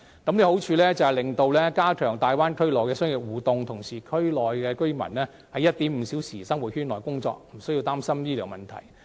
計劃的好處是，可以加強大灣區內的商業互動，同時區內居民在 1.5 小時生活圈內工作，無須擔心醫療問題。